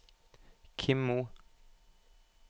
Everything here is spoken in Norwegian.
Kim Moe